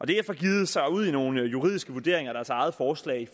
df får begivet sig ud i nogle juridiske vurderinger af deres eget forslag i